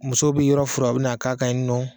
Musow bi yɔrɔ furan o bɛ na k'a kan yen nɔ.